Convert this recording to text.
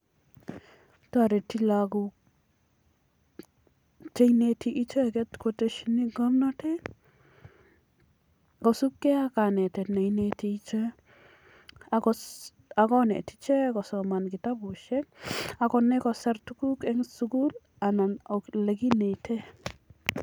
Toreti lagok cheineti icheget kotesheni ng'omnatet kosibge ak kanetet ne ineti ichek. Ak konet ichek kosoman kitabushek ak konai kosir tuguk en sugul anan ole kineten.